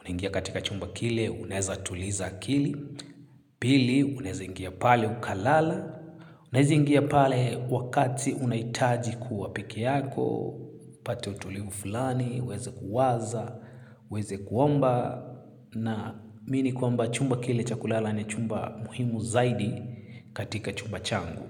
Unaingia katika chumba kile unaweza tuliza akili. Pili unaweza ingia pale ukalala. Unaweza ingia pale wakati unahitaji kuwa peke yako. Upate utulivu fulani, uweze kuwaza, uweze kuomba naamini kwamba chumba kile cha kulala ni chumba muhimu zaidi katika chumba changu.